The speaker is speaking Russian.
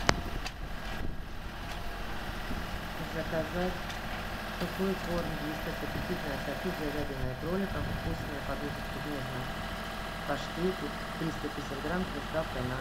заказать сухой корм вискас аппетитное ассорти с говядиной и кроликом вкусные подушечки в нежном паштете триста пятьдесят грамм с доставкой на дом